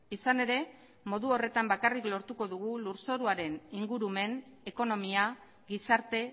izan ere modu horretan bakarrik lortuko dugu lurzoruaren ingurumen ekonomia gizarte